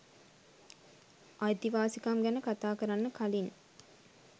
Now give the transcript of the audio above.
අයිතිවාසිකම් ගැන කතා කරන්න කලින්